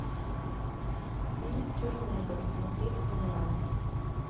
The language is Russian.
фильм чернобыль смотреть онлайн